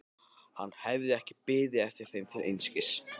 Hann hafði ekki beðið eftir þeim til einskis.